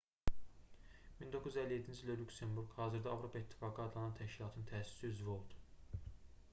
1957-ci ildə lüksemburq hazırda avropa i̇ttifaqı adlanan təşkilatın təsisçi üzvü oldu